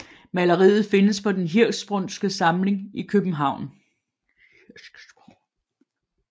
Maleriet findes på Den Hirschsprungske Samling i København